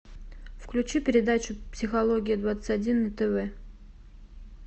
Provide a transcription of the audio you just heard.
включи передачу психология двадцать один на тв